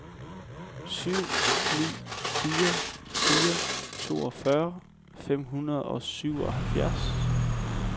syv ni fire fire toogfyrre fem hundrede og syvoghalvfjerds